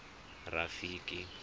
rafiki